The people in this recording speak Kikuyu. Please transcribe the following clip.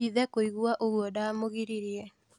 Ithe kũigua ũgwo ndamũgiririe.